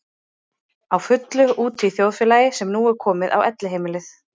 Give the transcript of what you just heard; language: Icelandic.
Á fullu úti í þjóðfélagi sem nú er komið á Elliheimilið.